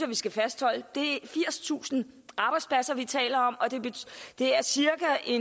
vi skal fastholde det firstusind arbejdspladser vi taler om og det er cirka